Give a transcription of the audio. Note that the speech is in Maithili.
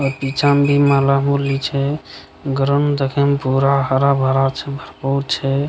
और पिछा म भी मलहू ली छे गरम देखेम पूरा हरा-भरा छे भरपुर छे।